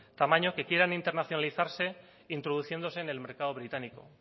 tamaño que quieran internacionalizarse introduciéndose en el mercado británico